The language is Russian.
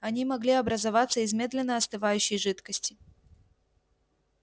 они могли образоваться из медленно остывающей жидкости